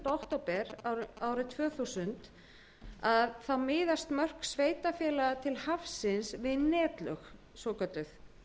að samkvæmt áliti félagsmálaráðuneytisins frá nítjándu október árið tvö þúsund miðast mörk sveitarfélaga til hafsins við netlög svokölluð